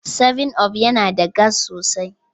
7up yana da gas sosai.